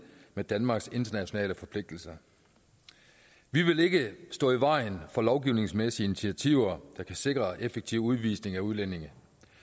med danmarks internationale forpligtelser vi vil ikke stå i vejen for lovgivningsmæssige initiativer der kan sikre effektiv udvisning af udlændinge